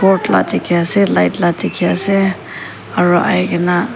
tiki ase light la tiki ase aro ai kina.